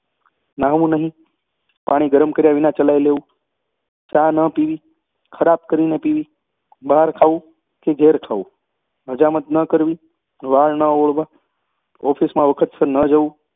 નાહવું નહીં પાણી ગરમ કર્યા વિના ચલાવી લેવું ચા ન પીવી ખરાબ કરીને પીવી બહાર ખાવું ઘેર ખાવું હજામત ન કરવી વાળ ન ઓળવા ઓફિસમાં વખતસર ન જવું